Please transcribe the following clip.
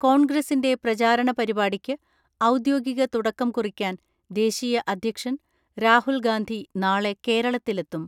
കോൺഗ്രസിന്റെ പ്രചാരണ പരിപാടിക്ക് ഔദ്യോഗിക തുടക്കം കുറിക്കാൻ ദേശീയ അദ്ധ്യക്ഷൻ രാഹുൽ ഗാന്ധി നാളെ കേരളത്തിലെത്തും.